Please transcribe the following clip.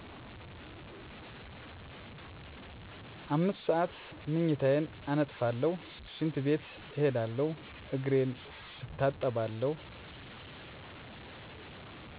5 ሰዓት ምኝታየን አነጥፉለሁ ሽንት ቤት እሄዳለሁ እግሬን እታጠባለሁ።